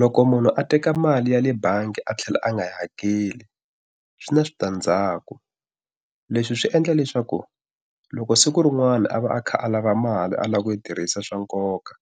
Loko munhu a teka mali ya le bangi a tlhela a nga hakeli swi na switandzhaku. Leswi swi endla leswaku loko siku rin'wana a va a kha a lava mali a lava ku yi tirhisa swa nkoka,